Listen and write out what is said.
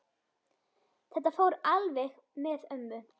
Þetta fór alveg með ömmu.